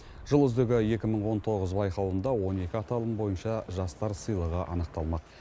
жыл үздігі екі мың он тоғыз байқауында он екі аталым бойынша жастар сыйлығы анықталмақ